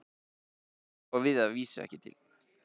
Sem ég á að vísu ekki til.